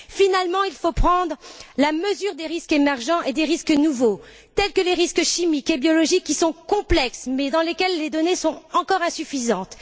Finalement, il faut prendre la mesure des risques émergents et des risques nouveaux, tels que les risques chimiques et biologiques, qui sont complexes, mais pour lesquels les données sont encore insuffisantes.